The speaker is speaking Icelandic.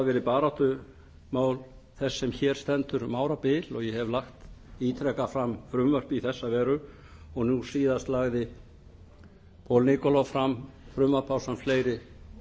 verið baráttumál þess sem hér stendur um árabil og ég hef lagt ítrekað fram frumvörp í þessa veru og nú síðast lagði auk nikolov fram frumvarp ásamt fleiri